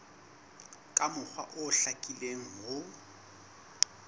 ka mokgwa o hlakileng ho